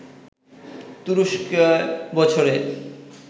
তুরস্কে বছরে